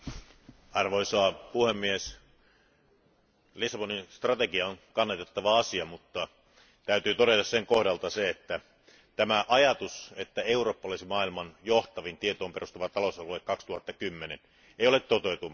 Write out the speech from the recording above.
Arvoisa puhemies, Lissabonin strategia on kannatettava asia, mutta sen kohdalta täytyy todeta, että tämä ajatus, että Eurooppa olisi maailman johtavin tietoon perustuva talousalue 2010, ei ole toteutumassa.